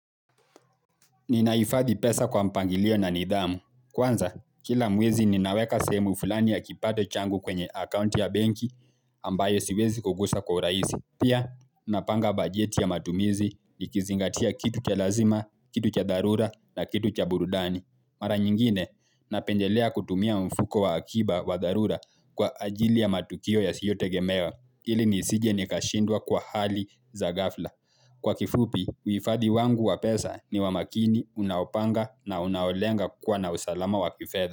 Ninahifathi pesa kwa mpangilio na nidhamu. Kwanza, kila mwezi ninaweka sehemu fulani ya kipato changu kwenye akaunti ya benki ambayo siwezi kugusa kwa uraisi. Pia, napanga bajeti ya matumizi nikizingatia kitu cha lazima, kitu cha dharura na kitu cha burudani. Mara nyingine, napendelea kutumia mfuko wa akiba wa darura kwa ajili ya matukio yasiyotegemewa ili nisije nikashindwa kwa hali za ghafla. Kwa kifupi, uifadhi wangu wa pesa ni wa makini, unaopanga na unaolenga kuwa na usalama wa kifedha.